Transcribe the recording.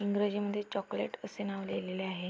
इंग्रजी मध्ये चॉकलेट असे नाव लिहिलेले आहे.